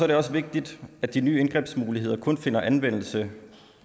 det også vigtigt at de nye indgrebsmuligheder kun finder anvendelse